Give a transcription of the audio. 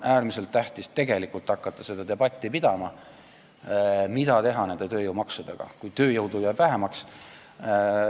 Äärmiselt tähtis on hakata pidama seda debatti, mida teha tööjõumaksudega, kui tööjõudu jääb vähemaks.